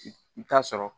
I bi taa sɔrɔ